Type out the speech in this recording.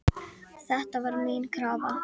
Þetta var mín krafa